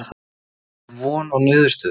En er von á niðurstöðu?